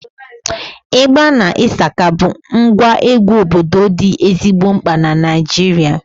Ịgba na ịshaka bụ ngwa egwu obodo dị ezigbo mkpa na Naịjirịa